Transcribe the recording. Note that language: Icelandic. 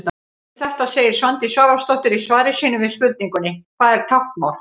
Um þetta segir Svandís Svavarsdóttir í svari sínu við spurningunni: Hvað er táknmál?